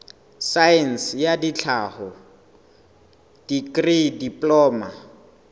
saense ya tlhaho dikri diploma